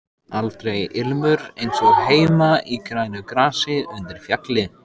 Aldrei ilmur eins og heima í grænu grasi undir fjalli.